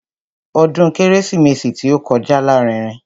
Ọdún kérésìmesì tí ó kọjá lárinrin.